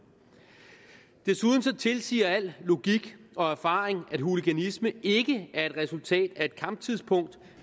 desuden tilsiger al logik og erfaring at hooliganisme ikke er et resultatet af et kamptidspunkt